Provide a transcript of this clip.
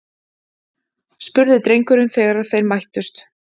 spurði drengurinn þegar þeir mættust.